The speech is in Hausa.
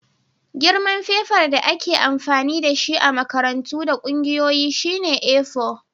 Girman fefar da ake amfani da shi a makarantu da ƙungiyoyi shine A4.